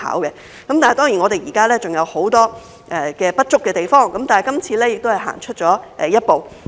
雖然現在還有很多不足的地方，但這次修例亦是走出一步。